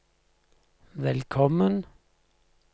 velkommen